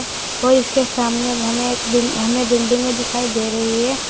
और इसके सामने हमें एक बिल हमें बिल्डिंगे दिखाई दे रही है।